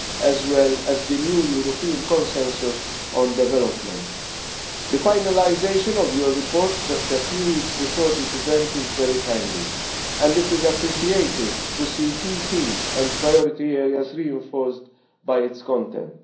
as well as the new European consensus on development. The finalisation of your report just a few weeks before this event is very timely, and it is appreciated to see key teams and priority areas reinforced by its content.